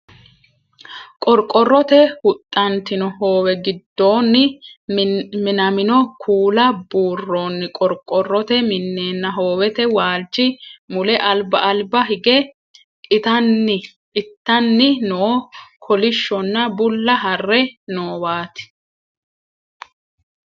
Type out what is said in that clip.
Qorqorrote huxxantino hoowe giddoonni minamino kuula burroonni qorqorrote minenna hoowete waalchi mule alba alba higge ittanni noo kolishshonna bulla harre noowaati.